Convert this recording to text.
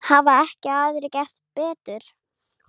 Hafa ekki aðrir gert betur.